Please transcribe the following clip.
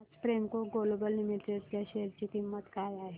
आज Premco Global Limited च्या share ची किंमत काय आहे